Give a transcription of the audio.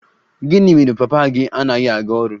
Gịnị mere papa gị anaghị aga ọrụ?